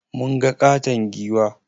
Mun ga ƙaton giwa.